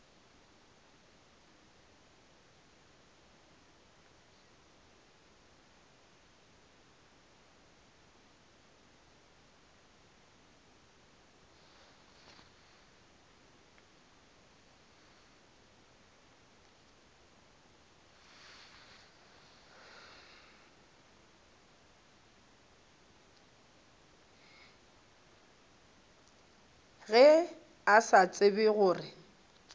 ge a sa tsebe gore